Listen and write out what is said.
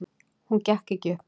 Hún gekk ekki upp.